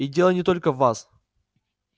и дело не только в вас